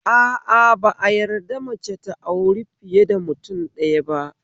A a, ba a yadda mace ta auri fiye da mutum ɗaya ba